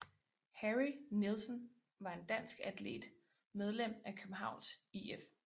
Harry Nielsen var en dansk atlet medlem af Københavns IF